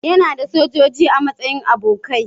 Yana da sojoji a matsayin abokai.